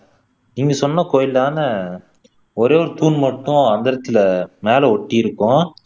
நீங்க சொன்ன கோயில் தானே ஒரே ஒரு தூண் மட்டும் அந்தரத்துல மேல ஒட்டி இருக்கும்